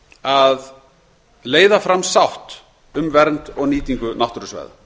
að leiða fram sátt um vernd og nýtingu náttúrusvæða